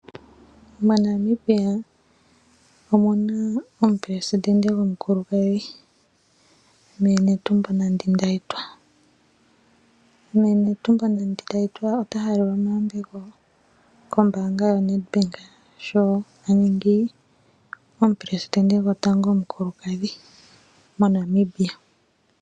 MoNamibia omuna omuleli goshilongo mee Netumbo Nandi -Ndaitwah . Ota halelwa omayambeko kombaanga yaNedbank , sho aningi omuleli gwotango omukulukadhi omuNamibia.